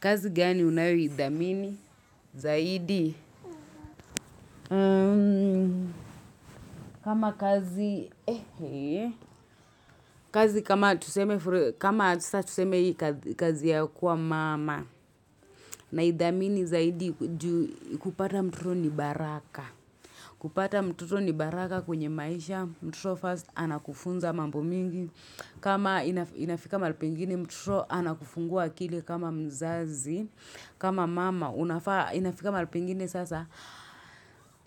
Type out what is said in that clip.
Kazi gani unayoidhamini zaidi? Kama kazi, kazi kama tuseme kazi ya kuwa mama naidhamini zaidi kupata mtoto ni baraka. Kupata mtoto ni baraka kwenye maisha, mtoto first anakufunza mambo mingi. Kama inafika mahali pengine, mtoto anakufungua akili kama mzazi, kama mama, inafika malipengine sasa.